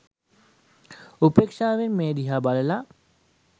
උපේක්‍ෂාවෙන් මේ දිහා බලල